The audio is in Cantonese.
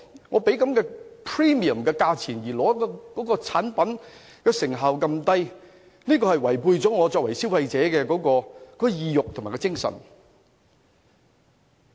我付出 premium 的價錢但得到的產品成效如此低，這是違背了我作為消費者的意欲和精神。